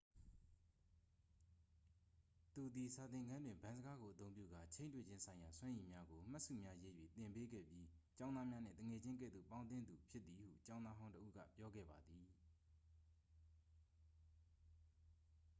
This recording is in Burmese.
သူသည် စာသင်ခန်းတွင် ဗန်းစကားကိုအသုံးပြုကာ ချိန်းတွေ့ခြင်းဆိုင်ရာစွမ်းရည်များကို မှတ်စုများရေး၍ သင်ပေးခဲ့ပြီး ကျောင်းသားများနှင့် သူငယ်ချင်းကဲ့သို့ပေါင်းသင်းသူ' ဖြစ်သည်ဟု ကျောင်းသားဟောင်းတစ်ဦးက ပြောခဲ့ပါသည်